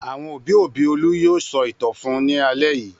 Àwọn òbí-òbí Olú yóò sọ ìtàn fún un lálẹ́ yìí.